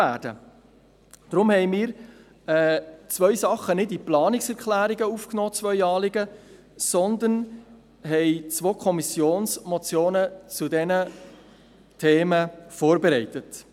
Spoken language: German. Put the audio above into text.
Deshalb haben wir zwei Anliegen nicht in die Planungserklärungen aufgenommen, sondern haben zwei Kommissionsmotionen zu diesen Themen vorbereitet.